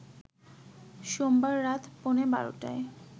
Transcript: সোমবার রাত পৌনে ১২টায়